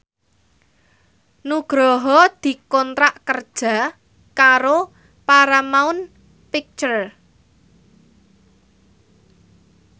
Nugroho dikontrak kerja karo Paramount Picture